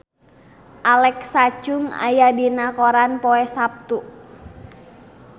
Alexa Chung aya dina koran poe Saptu